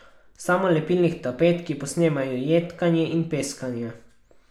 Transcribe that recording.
Samolepilnih tapet, ki posnemajo jedkanje in peskanje.